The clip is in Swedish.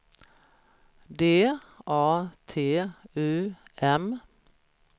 D A T U M